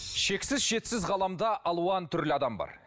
шексіз шетсіз ғаламда алуан түрлі адам бар